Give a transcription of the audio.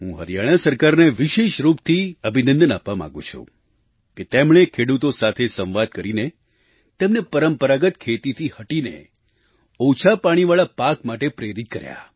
હું હરિયાણા સરકારને વિશેષ રૂપથી અભિનંદન આપવા માગું છું કે તેમણે ખેડૂતો સાથે સંવાદ કરીને તેમને પરંપરાગત ખેતીથી હટીને ઓછા પાણીવાળા પાક માટે પ્રેરિત કર્યા